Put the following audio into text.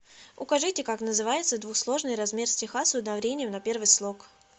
укажите как называется двусложный размер стиха с ударением на первый слог